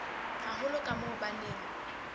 haholo ka moo ba neng